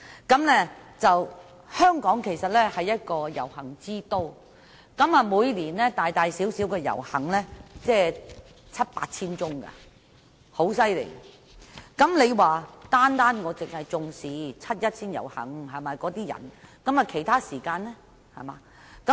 事實上，香港是一個遊行之都，每年大大小小的遊行達七八千宗，如果尹議員只要求重視七一遊行的市民，其他時間遊行的市民又怎樣？